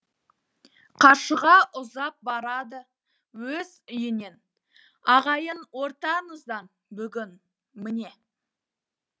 қаршыға ұзап барады өз үйінен ағайын ортаңыздан бүгін міне